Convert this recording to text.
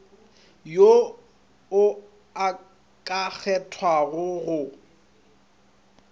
yo o ka kgethwago go